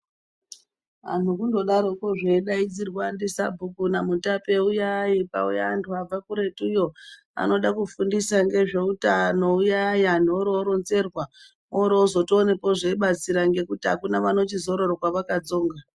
Antu kundodarokwozve veidaidzirwa ndiSabhuku naMutape, ''uyai'', kwauya antu vabve kuretuyo vanode kufundisa ngezveutano. ''Uyai'', antu oro oronzerwa orozotoonakwo zveibatsira ngekuti hakuna vanochizoroorwa vakatsonga.